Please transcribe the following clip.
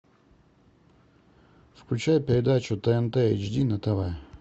включай передачу тнт эйч ди на тв